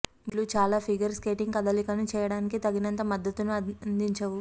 బూట్లు చాలా figure skating కదలికలను చేయడానికి తగినంత మద్దతును అందించవు